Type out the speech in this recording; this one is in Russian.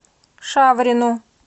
шаврину